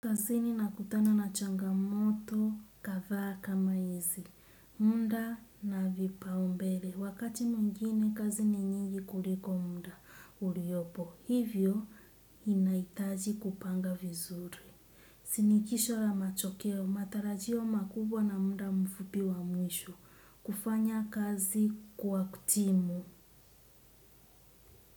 Kazini nakutana na changamoto kadhaa kama hizi muda na vipaumbele wakati mwingine, kazi ni nyingi kuliko muda uliopo. Hivyo, inaitaji kupanga vizuri. Sinikisho la machokeo, matarajio makubwa na muda mfupi wa mwisho kufanya kazi kwa timu.